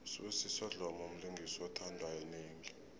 usibusiso dlomo mlingisi othandwa yinengi